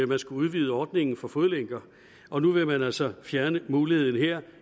man skulle udvide ordningen for fodlænker og nu vil man altså fjerne muligheden her